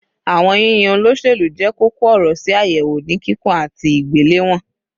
Awọn yiyan oloselu jẹ koko ọrọ si ayewo ni kikun ati igbelewọn